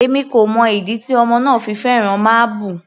Èmi kò mọ ìdí tí ọmọ náà fi fẹ́ràn máábù.